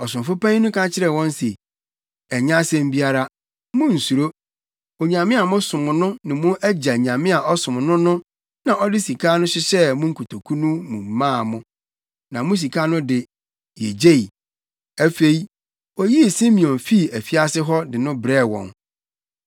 Ɔsomfo panyin no ka kyerɛɛ wɔn se, “Ɛnyɛ asɛm biara. Munnsuro. Onyame a mosom no ne mo agya Nyame a ɔsom no no na ɔde saa sika no hyehyɛɛ mo nkotoku no mu maa mo. Na mo sika no de, yegyei.” Afei, oyii Simeon fii afiase hɔ de no brɛɛ wɔn.